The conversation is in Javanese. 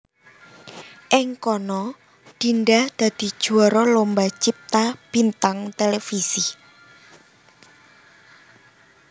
Ing kana Dinda dadi juwara Lomba Cipta Bintang Televisi